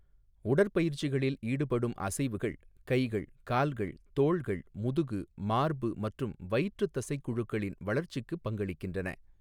உடற்பயிற்சிகளில் ஈடுபடும் அசைவுகள் கைகள், கால்கள், தோள்கள், முதுகு, மார்பு மற்றும் வயிற்றுத் தசைக் குழுக்களின் வளர்ச்சிக்கு பங்களிக்கின்றன.